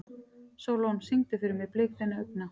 Sólon, syngdu fyrir mig „Blik þinna augna“.